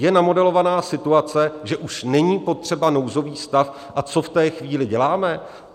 Je namodelovaná situace, že už není potřeba nouzový stav a co v té chvíli děláme?